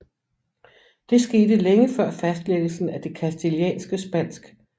Det skete længe før fastlæggelsen af det castilianske spansk